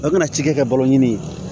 O mana ci kɛ balo ɲini ye